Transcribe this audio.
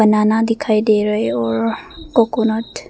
बनाना दिखाई दे रहे और कोकोनट --